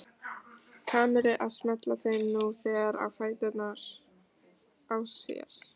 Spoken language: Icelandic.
Kamillu að smella þeim nú þegar á fæturna á sér.